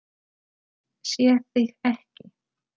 Ég sé þig ekki.